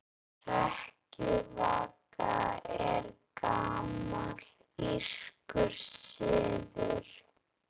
Hrekkjavaka er gamall írskur siður.